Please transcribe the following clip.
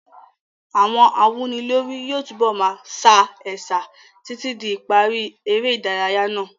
Àwọn awúnilórí yóò túbọ̀ máa sa ẹ̀sà títí di ìparí eré ìdárayá náà.